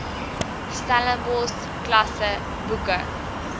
stellenbosch klasse boeke